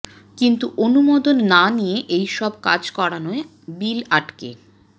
কিন্তু অনুমোদন না নিয়ে এই সব কাজ করানোয় বিল আটকে